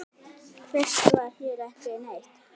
Fyrst var hér ekki neitt.